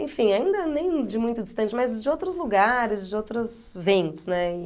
Enfim, ainda nem de muito distante, mas de outros lugares, de outros ventos, né? E